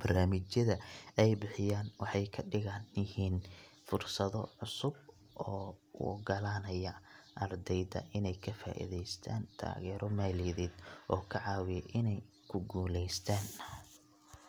Barnaamijyada ay bixiyaan waxay ka dhigan yihiin fursado cusub oo u oggolaanaya ardayda inay ka faa’iideystaan taageero maaliyadeed oo ka caawiya inay ku guuleystaan.